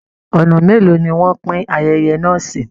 Ọ̀nà mélòó ni wọ́n pín ayẹyẹ náà sí!